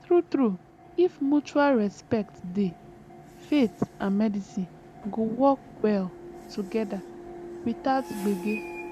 true true if mutual respect dey faith and medicine go work well together without gbege